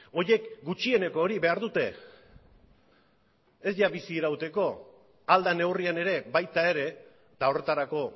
horiek gutxieneko hori behar dute ez ia bizirauteko ahal den neurrian ere baita ere eta horretarako